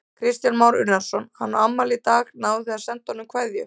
Kristján Már Unnarsson: Hann á afmæli í dag, náðuð þið að senda honum kveðju?